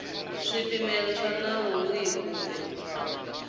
swipimelo swa nawu wihi kumbe